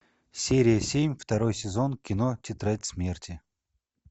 серия семь второй сезон кино тетрадь смерти